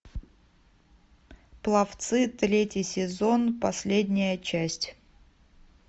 пловцы третий сезон последняя часть